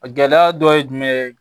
A gɛlɛya dɔ ye jumɛn ye